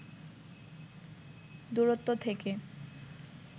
দূরত্ব থেকে